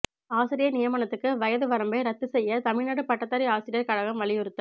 ஆசிரியா் நியமனத்துக்கு வயது வரம்பை ரத்து செய்ய தமிழ்நாடு பட்டதாரி ஆசிரியா் கழகம் வலியுறுத்தல்